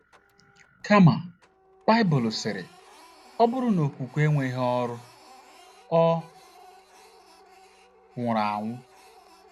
Kama, Baịbụl sịrị, “ ọ bụrụ na okwukwe enweghị ọrụ, ọ nwụrụ anwụ. ”